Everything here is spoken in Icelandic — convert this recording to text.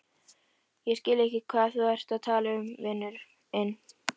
Ég skil ekki hvað þú ert að tala um, vinurinn.